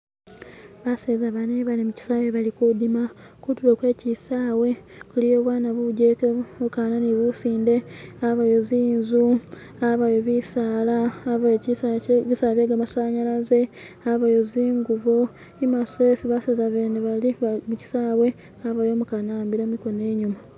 Baseza bane bali mukyisawe balikudima kutulo kwechisawe kuliyo bwana bugeke bukana ni businde habayo zinzu habayo bisaala habayo bisaala bye gamasanyalaze habayo zingubo imaso hesi baseza bene bali michisawe habayo umukana ahambile mikono inyuma